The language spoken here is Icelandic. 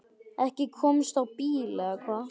Ekki komstu á bíl eða hvað?